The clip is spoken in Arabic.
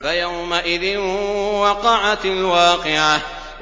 فَيَوْمَئِذٍ وَقَعَتِ الْوَاقِعَةُ